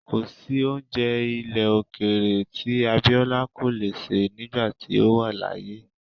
Kò sí oúnjẹ ilẹ̀ òkèèrè tí Abiola kò le sè nígbà tí ó wà láyé.